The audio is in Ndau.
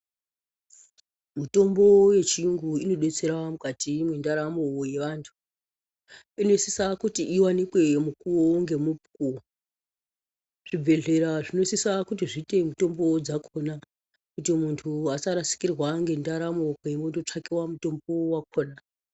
Mitombo yechiyungu inodetsera mukati mwentaramo yevantu. Inosisa kuti iwanike mukuwu nemukuwu. Zvibhedhlera zvinosisa kuti zviite mitombo yakona muntu asarasikirwa ngentaramo panondotsvakiwa mitombo yakona.